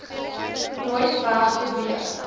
nooit weg beweeg